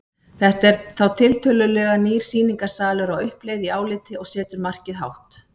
Þetta er þá tiltölulega nýr sýningarsalur á uppleið í áliti og setur markið hátt.